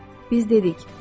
Xeyr, biz dedik: